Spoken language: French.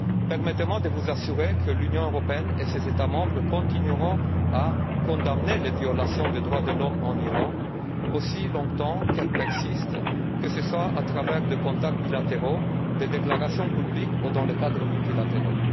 Permettez moi de vous assurer que l'Union européenne et ses États membres continueront à condamner les violations des droits de l'homme en Iran aussi longtemps qu'elles persisteront, que ce soit à travers des contacts bilatéraux, des déclarations publiques ou dans le cadre de contacts multilatéraux.